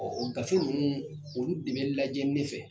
o gafe ninnu olu de bɛ lajɛ ne fɛ.